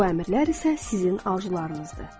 Bu əmrlər isə sizin arzularınızdır.